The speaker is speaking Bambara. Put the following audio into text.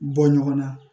Bɔ ɲɔgɔn na